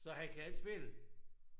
Så han kan ikke spille